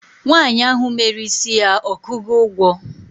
nwanyi ahu mere isi ya okugo ugwo?